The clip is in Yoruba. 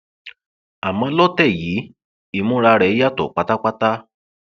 àmọ lọtẹ yìí ìmúra rẹ yàtọ pátápátá